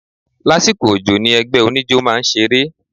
Lásìkò òjò ni ẹgbẹ́ oníjó máa ń ṣeré.